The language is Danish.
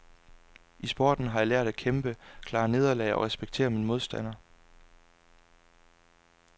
I sporten har jeg lært at kæmpe, klare nederlag og at respektere min modstander.